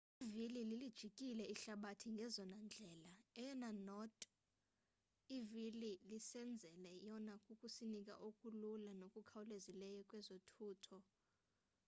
ivili lilijikile ihlabathi ngezona ndlela eyona not ivili lisenzele yona kukusinika okulula nokukhawulezileyo kwezothutho